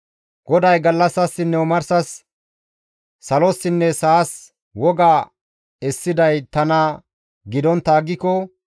GODAY, «Gallassasinne omarsas, salossinne sa7as woga essiday tana gidontta aggiko,